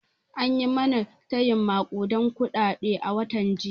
An yi mana tayin maƙuden kuɗaɗe a watan jiya